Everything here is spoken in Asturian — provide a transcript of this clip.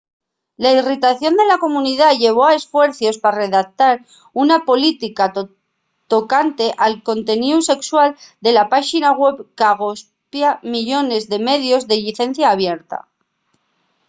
la irritación de la comunidá llevó a esfuercios pa redactar una política tocante al conteníu sexual de la páxina web qu’agospia millones de medios de llicencia abierta